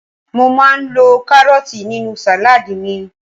mo ma n lo karọọti ninu saladi mi